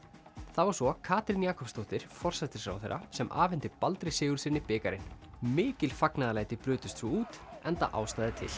það var svo Katrín Jakobsdóttir forsætisráðherra sem afhenti Baldri Sigurðssyni bikarinn mikil fagnaðarlæti brutust svo út enda ástæða til